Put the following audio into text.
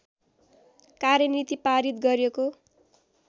कार्यनीति पारित गर्‍योको